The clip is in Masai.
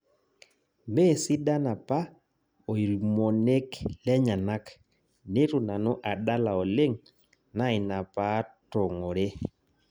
Mesidan apa oirmonek lenyenak nitu nanu adala oleng' naa ina paatong'ore